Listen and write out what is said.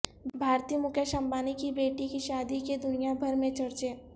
بھارتی مکیش امبانی کی بیٹی کی شادی کے دنیا بھر میں چرچے